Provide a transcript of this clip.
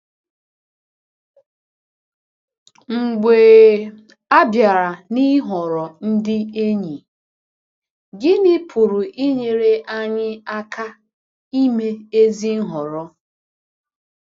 Mgbe a bịara n’ịhọrọ ndị enyi, gịnị pụrụ inyere anyị aka ime ezi nhọrọ?